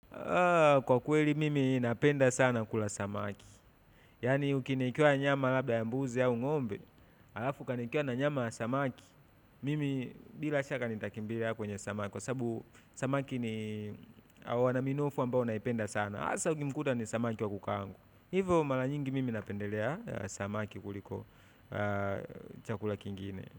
Kwa kweli mimi napenda sana kula samaki, yaani ukiniwekea nyama labda ya mbuzi au ng'ombe alafu ukaniwekea na nyama samaki mimi bila shaka, nitakimbilia kwenye samaki, kwa sabu, samaki ni, hawa wana minofu ambao naipenda sana, hasa ukimkuta ni samaki wa kukaangwa. Hivo mara nyingi mimi napendelea, samaki kuliko, chakula kingine.